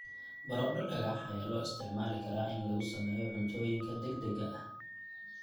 Baradho dhagax ayaa loo isticmaali karaa in lagu sameeyo cuntooyinka degdegga ah.